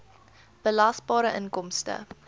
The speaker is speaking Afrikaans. belasbare inkomste